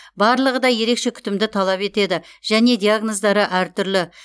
барлығы да ерекше күтімді талап етеді және диагноздары әртүрлі